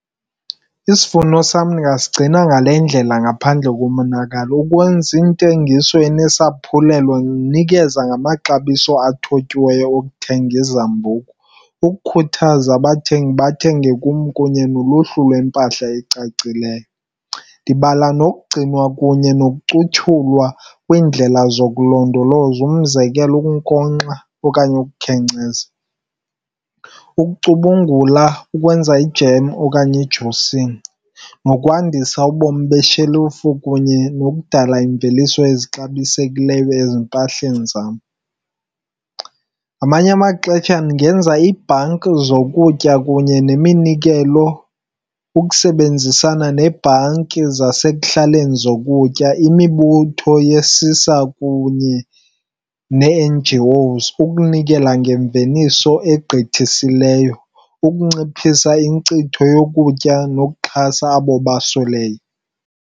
Isivuno sam ndingasigcina ngale ndlela ngaphandle komonakalo. Ukwenza intengiso enesaphulelo, ndinikeza ngamaxabiso athotyiweyo okuthenga izambuku ukukhuthaza abathengi bathenge kum kunye noluhlu lwempahla ecacileyo. Ndibala nokugcinwa kunye nokucuthulwa kwindlela zokulondoloza, umzekelo ukunkonkxa okanye ukukhenkceza, ukucubungula, ukwenza ijem okanye i-juicing, nokwandisa ubomi beshelufu kunye nokudala iimveliso ezixabisekileyo ezimpahleni zam. Ngamanye amaxesha ndingenza iibhanki zokutya kunye neminikelo ukusebenzisana neebhanki zasekuhlaleni zokutya, imibutho yesisa kunye nee-N_G_Os ukunikela ngemveliso egqithisileyo, ukunciphisa inkcitho yokutya nokuxhasa abo basweleyo.